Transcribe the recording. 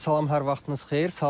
Salam, hər vaxtınız xeyir.